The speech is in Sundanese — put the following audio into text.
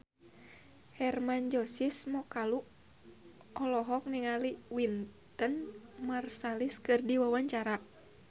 Hermann Josis Mokalu olohok ningali Wynton Marsalis keur diwawancara